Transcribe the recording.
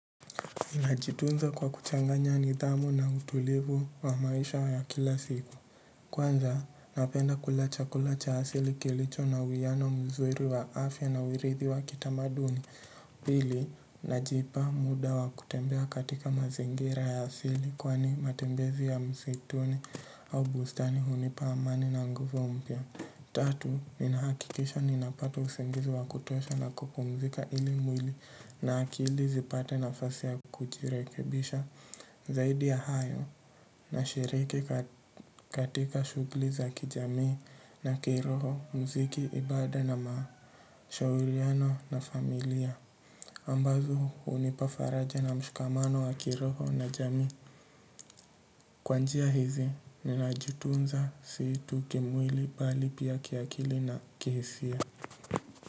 Najitunza kwa kuchanganya nidhamu na utulivu wa maisha ya kila siku. Kwanza, napenda kula chakula cha asili kilicho na uiano mzuri wa afya na uridhi wa kitamaduni. Pili, najipa muda wa kutembea katika mazingira ya asili kwani matembezi ya msituni au bustani hunipa amani na nguvu mpya. Tatu, ninahakikisha ninapata usingizi wa kutosha na kupumzika ili mwili na akili zipate nafasi ya kujirekebisha. Zaidi ya hayo na sherehekea katika shughuli za kijamii na kiroho, muziki, ibada na mashauriano na familia ambazo hunipa faraja na mshikamano wa kiroho na jamii. Kwa njia hizi, ninajitunza si tu kimwili bali pia kiakili na kihisia.